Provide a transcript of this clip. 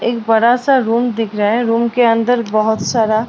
एक बड़ा-सा रूम दिख रहा है एक रूम के अंदर बहोत सारा --